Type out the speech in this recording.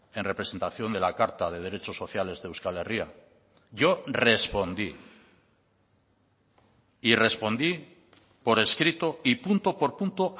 en representación de la carta de derechos sociales de euskal herria yo respondí y respondí por escrito y punto por punto